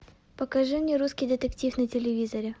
покажи мне русский детектив на телевизоре